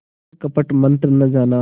पर कपट मन्त्र न जाना